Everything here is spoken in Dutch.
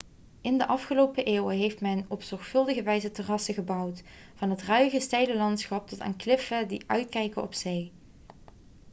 in de afgelopen eeuwen heeft men op zorgvuldige wijze terrassen gebouwd van het ruige steile landschap tot aan de kliffen die uitkijken op zee